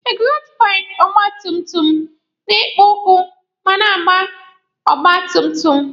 Ekzọstụ paịpụ ọgba tum tum na-ekpo ọkụ ma a na-agba ọgba tum tum.